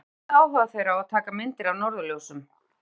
En hvað kveikti áhuga þeirra á að taka myndir af norðurljósum?